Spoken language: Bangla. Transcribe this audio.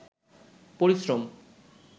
পরিশ্রম